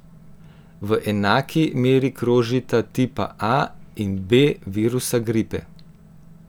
V enaki meri krožita tipa A in B virusa gripe.